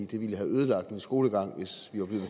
det ville have ødelagt min skolegang hvis vi var blevet